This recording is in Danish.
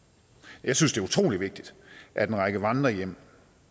jeg synes det er utrolig vigtigt at en række vandrerhjem